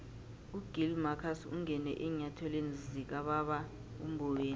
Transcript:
ugill marcus ungene eenyathelweni zikababa umboweni